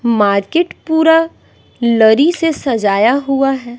Market पूरा लरी से सजाया हुआ है।